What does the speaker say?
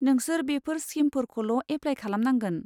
नोंसोर बेफोर स्किमफोरखौल' एफ्लाइ खालामनांगोन।